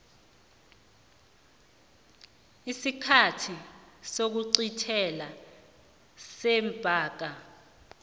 isikhathi sokuqintelwa sebhanka